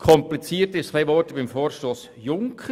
Etwas komplizierter ist es beim Vorstoss Junker.